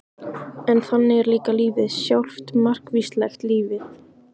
En þannig er líka lífið sjálft- margvíslegt lífið.